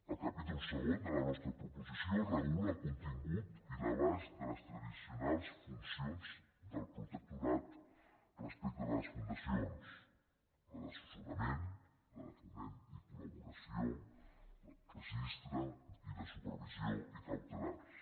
el capítol segon de la nostra proposició regula el contingut i l’abast de les tradicionals funcions del protectorat respecte de les fundacions la d’assessorament la de foment i col·laboració el registre i la supervisió i cautelars